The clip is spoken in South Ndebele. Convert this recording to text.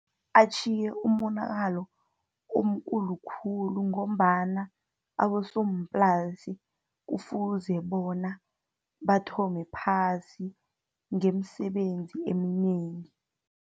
Atjhiye umonakalo omkulu khulu, ngombana abosomplasi kufuze bona bathome phasi ngeemsebenzi eminengi.